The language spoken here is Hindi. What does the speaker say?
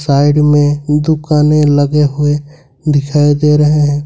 साइड में दुकाने लगे हुए दिखाई दे रहे हैं।